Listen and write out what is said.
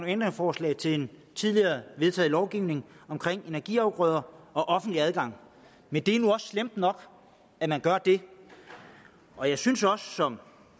ændringsforslag til en tidligere vedtaget lovgivning omkring energiafgrøder og offentlig adgang men det er nu også slemt nok at man gør det og jeg synes også som